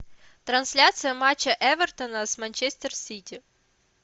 трансляция матча эвертона с манчестер сити